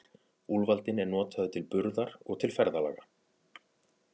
Úlfaldinn er notaður til burðar og til ferðalaga.